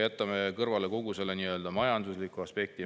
Jätame kõrvale kogu majandusliku aspekti.